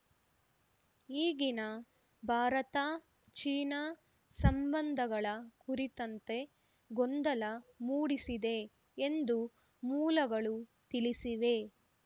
ಈಗಿನ ಭಾರತ ಚೀನಾ ಸಂಬಂಧಗಳ ಕುರಿತಂತೆ ಗೊಂದಲ ಮೂಡಿಸಿದೆ ಎಂದು ಮೂಲಗಳು ತಿಳಿಸಿವೆ